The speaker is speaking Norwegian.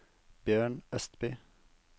Bjørn Østby